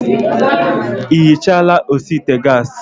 Ị ihichala osi ite gas?